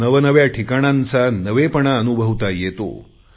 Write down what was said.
नवनव्या ठिकाणांचा नवेपणा अनुभवता येतो